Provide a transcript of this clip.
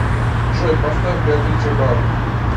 джой поставь беатрич эбаут